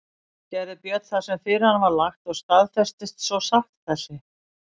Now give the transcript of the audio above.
Gerði Björn það sem fyrir hann var lagt og staðfestist svo sátt þessi.